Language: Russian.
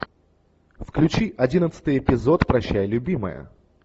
включи одиннадцатый эпизод прощай любимая